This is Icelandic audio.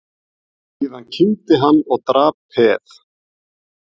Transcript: Síðan kímdi hann og drap peð.